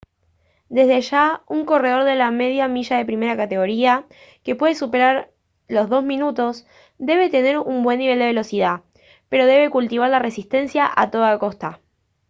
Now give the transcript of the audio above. desde ya un corredor de la media milla de primera categoría que puede superar los dos minutos debe tener un buen nivel de velocidad pero debe cultivar la resistencia a toda costa